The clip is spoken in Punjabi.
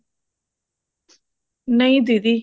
ਨਹੀਂ ਦੀਦੀ